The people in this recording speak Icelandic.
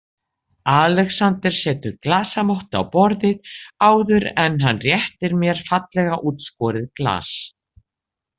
Alexander setur glasamottu á borðið áður en hann réttir mér fallega útskorið glas.